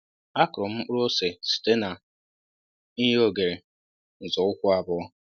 akụrụ m mkpụrụ ose site na i nye oghere nzọụkwụ abụọ